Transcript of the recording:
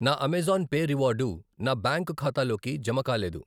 నా Amazon Pay reward నా bank ఖాతాలోకి జమకాలేదు.